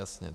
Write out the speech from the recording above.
Jasně.